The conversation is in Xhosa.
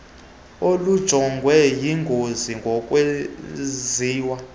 olujongwe yingozi ngokwenziwa